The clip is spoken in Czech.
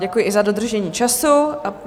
Děkuji i za dodržení času.